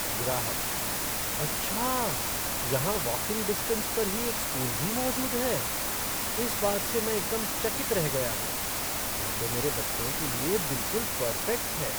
ग्राहकः "अच्छा? यहाँ वाकिंग डिस्टेन्स पर ही एक स्कूल भी मौजूद है? इस बात से मैं एकदम चकित रह गया हूँ। यह तो मेरे बच्चों के लिए बिलकुल पर्फ़ेक्ट है।